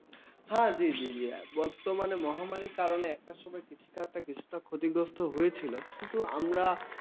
হ্যাঁ জি, জি, বর্তমানে মহামারীর কারণে একটা সময় কৃষিকাজ কিছুটা ক্ষতিগ্রস্ত হয়েছিল। কিন্তু আমরা